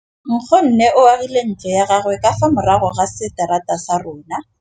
Nkgonne o agile ntlo ya gagwe ka fa morago ga seterata sa rona.